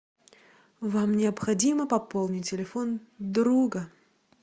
вам необходимо пополнить телефон друга